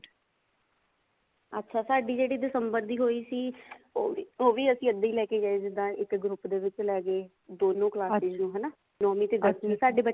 ਅੱਛਾ ਸਾਡੀ ਜਿਹੜੀ ਦਿਸੰਬਰ ਦੀ ਹੋਈ ਸੀ ਉਹ ਵੀ ਉਹ ਵੀ ਅਸੀਂ ਇੱਦਾਂ ਹੀ ਲੇਕੇ ਗਏ ਜਿੱਦਾਂ ਇੱਕ group ਏ ਵਿਕ ਲੈ ਗਏ ਦੋਨੋ classes ਨੂੰ ਹਨਾ ਨੋਵੀਂ ਤੇ ਦਸਵੀਂ ਨੂੰ ਸਾਡੇ ਬੱਚੇ